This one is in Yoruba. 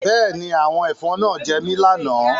Bẹ́ẹ̀ ni, àwọn ẹ̀fọn náà gé mi lánàá